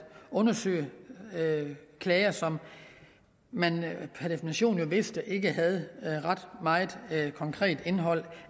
undersøge klager som man per definition vidste ikke havde ret meget andet konkret indhold